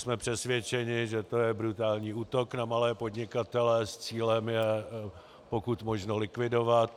Jsme přesvědčeni, že to je brutální útok na malé podnikatele s cílem je pokud možno likvidovat.